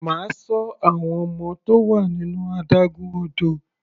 Máa ṣọ àwọn ọmọ tó wà nínú adágún odò.